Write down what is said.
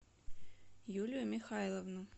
юлию михайловну